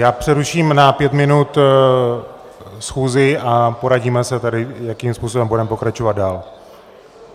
Já přeruším na pět minut schůzi a poradíme se tady, jakým způsobem budeme pokračovat dál.